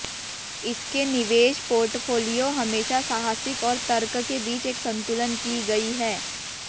इसके निवेश पोर्टफोलियो हमेशा साहसिक और तर्क के बीच एक संतुलन की गई है